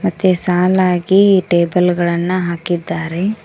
ಮತ್ತೆ ಸಾಲಾಗಿ ಟೇಬಲ್ ಗಳನ್ನ ಹಾಕಿದ್ದಾರೆ.